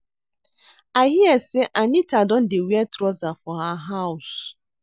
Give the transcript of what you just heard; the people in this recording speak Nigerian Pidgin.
I hear say Anita don dey wear trouser for her house